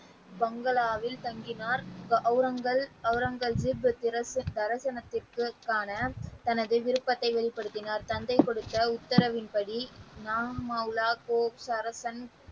பங்களாவில் தங்கினார் அவுரங்க அவுரங்க ஜிப் தரிசனத்தை காண தனது விருப்பத்தை வெளிப்படுத்தினார் தந்தை கொடுத்த உத்தரவின்படி ,